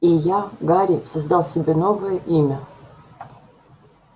и я гарри создал себе новое имя